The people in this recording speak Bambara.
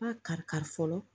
A kari kari fɔlɔ